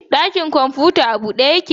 Ɗakin kwamfuta a bude yake?